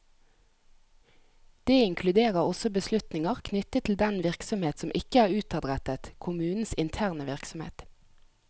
Det inkluderer også beslutninger knyttet til den virksomhet som ikke er utadrettet, kommunens interne virksomhet.